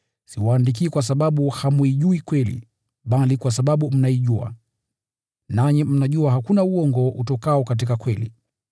Siwaandikii kwa sababu hamuijui kweli, bali kwa sababu mnaijua, nanyi mnajua hakuna uongo utokao katika kweli.